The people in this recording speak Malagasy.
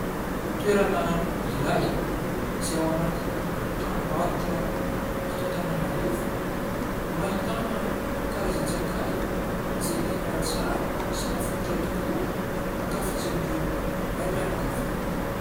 Toerana iray izay ao anatin'ny tranom-barotra eto Antananarivo no ahitana karazan-tsakay, izay tena tsara sy mafilotra tokoa, ankafizin'ireo raim-pianakaviana.